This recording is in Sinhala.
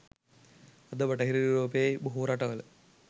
අද බටහිර යුරෝපයේ බොහෝ රටවල